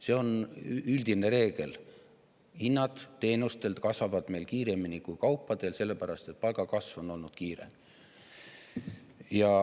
See on üldine reegel: hinnad kasvavad meil teenustel kiiremini kui kaupadel, sellepärast et palgakasv on olnud kiire.